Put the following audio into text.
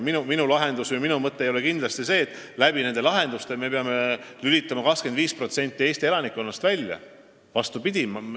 Minu mõte ei ole kindlasti see, et me peame nende lahendustega 25% Eesti elanikkonnast inforuumist välja lülitama.